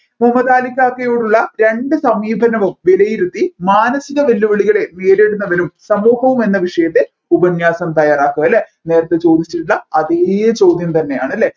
മമദാലിക്കാക്കയോടുള്ള രണ്ട് സമീപനവും വിലയിരുത്തി മാനസിക വെല്ലുവിളികളെ നേരിടുന്നവരും സമൂഹവും എന്ന വിഷയത്തെ ഉപന്യാസം തയ്യാറാക്കുക അല്ലെ നേരെത്തെ ചോദിച്ചിരുന്ന അതെ ചോദ്യം തന്നെയാണ് അല്ലെ